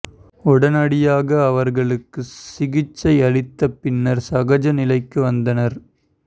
உடனடியாக அவர்களுக்கு சிகிச்சை அளித்த பின்னர் சகஜ நிலைக்கு வந்தனர்